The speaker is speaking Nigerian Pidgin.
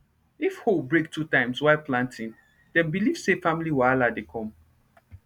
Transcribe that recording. if hoe break two times while planting dem believe say family wahala dey come